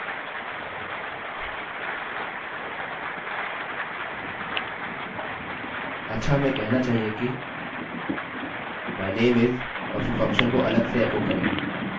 अच्छा हमें कहना चाहिए कि my name is और फिर फंक्शनfunction को अलग से एकोecho करें